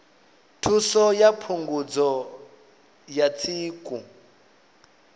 thuso ya phungudzo ya tsiku